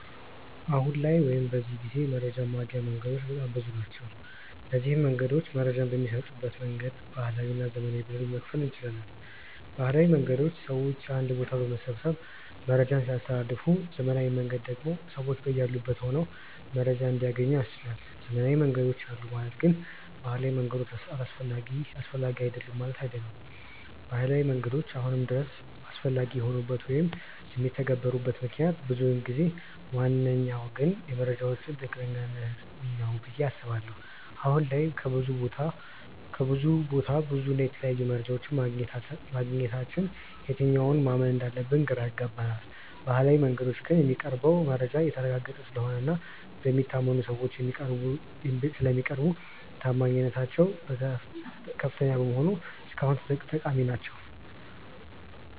አሁን ላይ ወይም በዚህ ጊዜ መረጃን ማግኛ መንገዶች በጣም ብዙ ናቸው። እነዚንም መንገዶች መረጃ በሚሰጡበት መንገድ ባህላዊ እና ዘመናዊ ብለን መክፈል እንችላለን። ባህላዊ መንገዶች ሰውን አንድ ቦታ በመሰብሰብ መረጃን ሲያስተላልፉ ዘመናዊው መንገድ ደግሞ ሰዎች በያሉበት ሆነው መረጃን እንዲያገኙ ያስችላል። ዘመናዊ መንገዶች አሉ ማለት ግን ባህላዊ መንገዶች አስፈላጊ አይደሉም ማለት አይደለም። ባህላዊ መንገዶች አሁንም ድረስ አስፈላጊ የሆኑበት ወይም የሚተገበሩበት ምክንያት ብዙ ቢሆንም ዋነኛው ግን የመረጃዎች ትክክለኛነት ነው ብዬ አስባለሁ። አሁን ላይ ከብዙ ቦታ ብዙ እና የተለያየ መረጃ ማግኘታችን የትኛውን ማመን እንዳለብን ግራ ያጋባል። በባህላዊው መንገዶች ግን የሚቀርበው መረጃ የተረጋገጠ ስለሆነ እና በሚታመኑ ሰዎች ስለሚቀርቡ ተአማኒነታቸው ከፍተኛ በመሆኑ እስካሁን ጠቃሚ ናቸው።